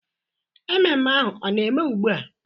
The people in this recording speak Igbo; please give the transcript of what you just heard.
Mmemme ahu ọ na eme ugbua?